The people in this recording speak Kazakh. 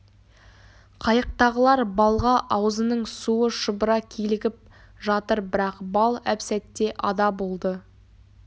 қайықтағылар балға аузының суы шұбыра килігіп жатыр бірақ бал әп-сәтте ада болды